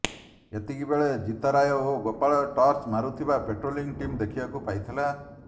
ଏତିକିବେଳେ ଜିତରାୟ ଓ ଗୋପାଳ ଟର୍ଚ୍ଚ ମାରୁଥିବା ପାଟ୍ରୋଲିଂ ଟିମ୍ ଦେଖିବାକୁ ପାଇଥିଲା